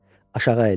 Aşağı əyildi.